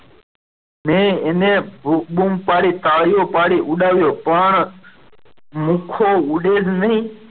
મેં એને બુમ પડી તાળીઓ પડી ઉડાવ્યો પણ લુખો ઉડે જ નઈ.